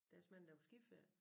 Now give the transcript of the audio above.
Der er så mange der på skiferie